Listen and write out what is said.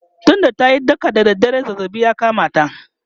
tun da tayi daka da dare zazzabi ya kamata